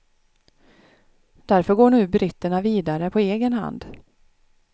Därför går nu britterna vidare på egen hand.